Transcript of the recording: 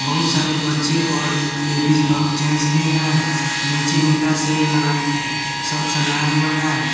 बहुत सारे बच्चे और लेडिज और जेंट्स भी हैं नीचे इंटा से लगा सब सजाया हुआ है।